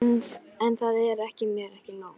En það er mér ekki nóg.